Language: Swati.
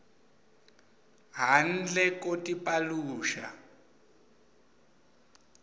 handle ko tipaluxa